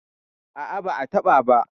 A'a, ba'a taɓa ba.